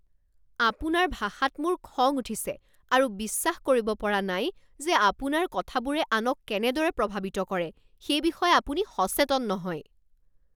আপোনাৰ ভাষাত মোৰ খং উঠিছে আৰু বিশ্বাস কৰিব পৰা নাই যে আপোনাৰ কথাবোৰে আনক কেনেদৰে প্ৰভাৱিত কৰে সেই বিষয়ে আপুনি সচেতন নহয়।